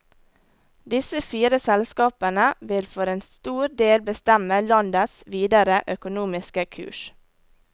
Disse fire selskapene vil for en stor del bestemme landets videre økonomiske kurs.